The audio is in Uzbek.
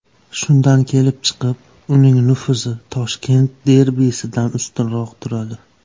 Shundan kelib chiqib, uning nufuzi Toshkent derbisidan ustunroq turadi.